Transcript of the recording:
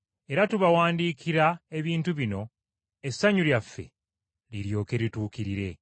Era tubawandiikira ebintu bino essanyu lyaffe liryoke lituukirire.